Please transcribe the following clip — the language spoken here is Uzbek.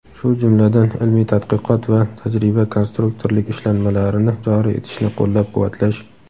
shu jumladan ilmiy-tadqiqot va tajriba-konstruktorlik ishlanmalarini joriy etishni qo‘llab-quvvatlash.